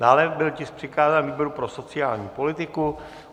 Dále byl tisk přikázán výboru pro sociální politiku.